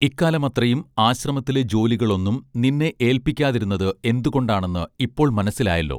ഇക്കാലമത്രയും ആശ്രമത്തിലെ ജോലികളൊന്നും നിന്നെ ഏൽപിക്കാതിരുന്നത് എന്തുകൊണ്ടാണെന്ന് ഇപ്പോൾ മനസ്സിലായല്ലോ